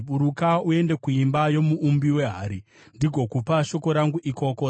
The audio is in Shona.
“Buruka uende kuimba yomuumbi wehari, ndigokupa shoko rangu ikoko.”